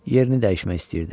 Yerini dəyişmək istəyirdi.